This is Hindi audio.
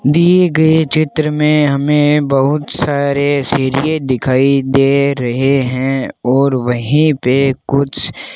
दिए गए चित्र में हमें बहुत सारे सिरिये दिखाई दे रहे हैं और वहीं पे कुछ --